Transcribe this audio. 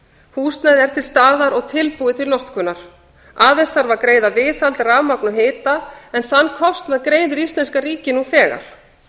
húsnæðið er til staðar og tilbúið til notkunar aðeins þarf að greiða viðhald rafmagn og hita en þann kostnað greiðir íslenska ríkið nú þegar